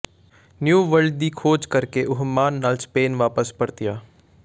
new World ਦੀ ਖੋਜ ਕਰ ਕੇ ਉਹ ਮਾਣ ਨਾਲ ਸਪੇਨ ਵਾਪਸ ਪਰਤਿਆ